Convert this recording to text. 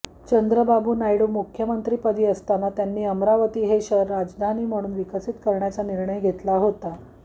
चंद्राबाबू नायडू मुख्यमंत्रिपदी असताना त्यांनी अमरावती हे शहर राजधानी म्हणून विकसित करण्याचा निर्णय घेतला होता